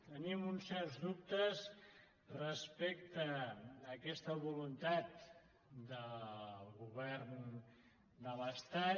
tenim uns certs dubtes respecte a aquesta voluntat del govern de l’estat